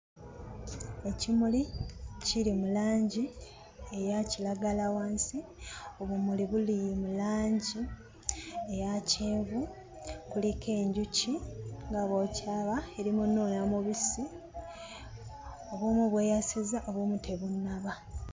Ekimuli kiri mu langi eya kiragala wansi. Obumuli buli mu langi eya kyenvu. Kuliko enjuki nga bw'okiraba, eri mu nnuuna mubisi. Obumu bweyasizza, obumu tebunnaba.